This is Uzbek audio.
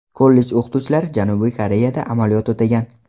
Kollej o‘qituvchilari Janubiy Koreyada amaliyot o‘tagan.